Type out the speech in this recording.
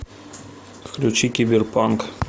включи киберпанк